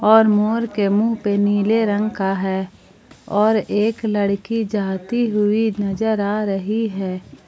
और मोर के मुंह पे नीले रंग का है और एक लड़की जाती हुई नजर आ रही है।